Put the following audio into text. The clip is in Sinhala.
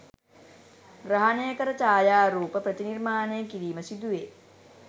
ග්‍රහණය කර ඡායාරූප ප්‍රතිනිර්මාණය කිරීම සිදුවේ.